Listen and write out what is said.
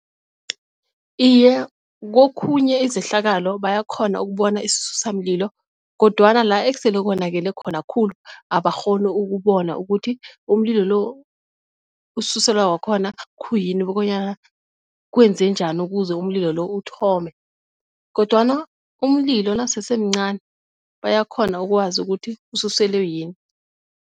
Iye, kokhunye izehlakalo bayakghona ukubona isisusa mlilo kodwana la esele ubonakele khona khulu abakghoni ukubona ukuthi umlilo lo osuselwa wakhona khuyini bonyana kwenze njani ukuze umlilo uthome kodwana umlilo nakasesemncani bayakghona ukwazi ukuthi ususele yini